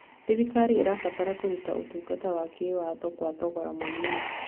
Thirikari ĩrabatara kũruta ũtungata wa kĩwatho kwa thogora mũnini.